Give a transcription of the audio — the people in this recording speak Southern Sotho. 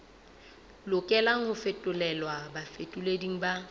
lokelang ho fetolelwa bafetoleding ba